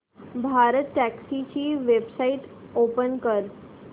भारतटॅक्सी ची website open कर